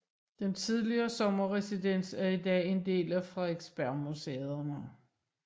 Den tidligere sommerresidens er i dag en del af Frederiksbergmuseerne